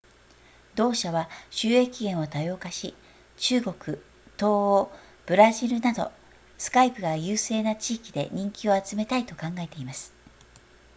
同社は収益源を多様化し中国東欧ブラジルなど skype が優勢な地域で人気を集めたいと考えています